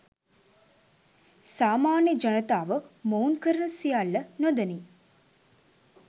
සාමාන්‍ය ජනතාව මොවුන් කරන සියල්ල නොදනී